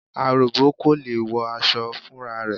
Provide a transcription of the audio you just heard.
Aròbó kò lè wọ aṣọ fúnra rẹ̀.